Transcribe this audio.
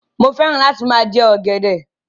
Mo fẹ́ràn láti máa jẹ ọ̀gẹ̀dẹ̀.